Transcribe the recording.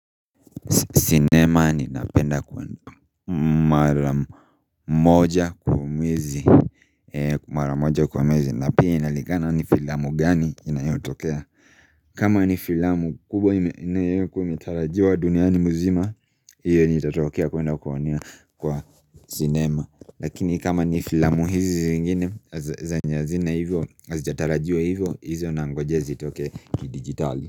Sinema ninapenda kuona mara moja kwa mwezi Mara moja kwa mwezi. Na pia inalingana ni filamu gani inayotokea kama ni filamu kubwa inayokuwa imetarajiwa duniani mzima hiyo nitatokea kuenda kuonea kwa sinema. Lakini kama ni filamu hizi zingine, zenye hazina hivyo, hazijatarajiwa hivyo, hizo nangojea zitoke kidigitali.